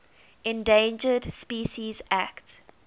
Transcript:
endangered species act